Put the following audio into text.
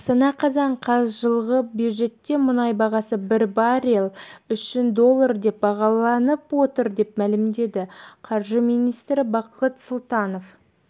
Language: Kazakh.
астана қазан қаз жылғы бюджетте мұнай бағасы бір баррель үшін доллар деп бағаланып отыр деп мәлімдеді қаржы министрі бақыт сұлтанов